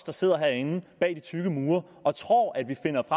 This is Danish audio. der sidder herinde bag de tykke mure og tror at vi kan